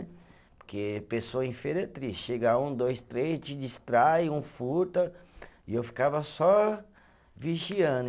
Porque pessoa em feira é triste, chega um, dois, três, te distrai, um furta e eu ficava só vigiando.